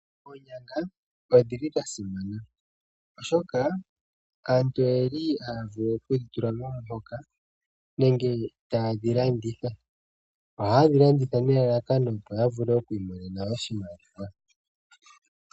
Oonyanga odhi li dha simana oshoka aantu oye li haya vulu okudhi tula momihoka nenge taye dhi landitha. Ohaye dhi landitha nelalakano opo ya vule oku imonena oshimaliwa.